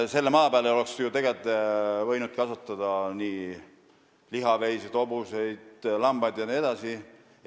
Selle maa peal oleks tegelikult võinud kasvatada lihaveiseid, hobuseid, lambaid jne.